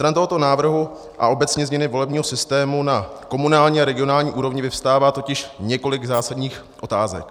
Stran tohoto návrhu a obecně změny volebního systému na komunální a regionální úrovni vyvstává totiž několik zásadních otázek.